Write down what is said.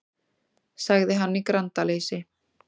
sagði hann í grandaleysi.